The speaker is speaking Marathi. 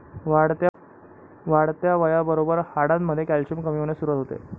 वाढत्या वयाबरोबर हाडांमध्ये कॅल्शियम कमी होण्यास सुरुवात होते.